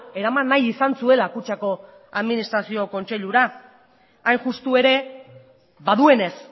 eraman nahi izan zuela kutxako administrazio kontseilura hain justu ere baduenez